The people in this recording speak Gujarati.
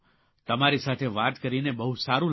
તમારી સાથે વાત કરીને બહુ સારૂં લાગ્યું